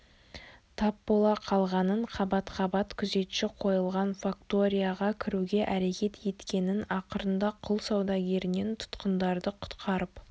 тап бола қалғанын қабат-қабат күзетші қойылған факторияға кіруге әрекет еткенін ақырында құл саудагерінен тұтқындарды құтқарып